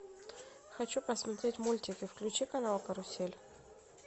хочу посмотреть мультики включи канал карусель